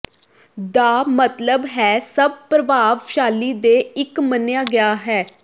ਦਾ ਮਤਲਬ ਹੈ ਸਭ ਪ੍ਰਭਾਵਸ਼ਾਲੀ ਦੇ ਇੱਕ ਮੰਨਿਆ ਗਿਆ ਹੈ